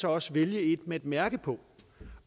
også vælge et med et mærke på